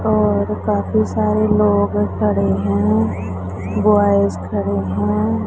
और काफी सारे लोग खड़े हैं बॉयज खड़े हैं।